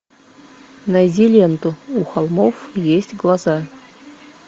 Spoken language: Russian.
найди ленту у холмов есть глаза